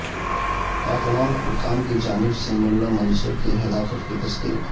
افغان حکام کی جانب سے ملا منصور کی ہلاکت کی تصدیق